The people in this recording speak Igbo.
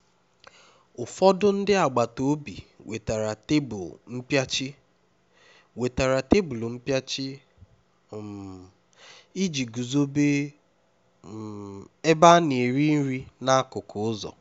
ụfọdụ ndị agbata obi wetara tebụl mpịachi wetara tebụl mpịachi um iji guzobe um ebe a na-eri nri n'akụkụ ụzọ